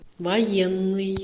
военный